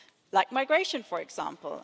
Like migration, for example.